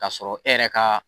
K'a sɔrɔ e yɛrɛ ka